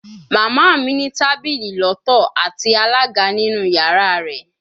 Mama mi ni tabili lọtọ ati alaga ninu yara rẹ